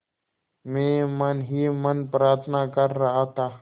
मैं मन ही मन प्रार्थना कर रहा था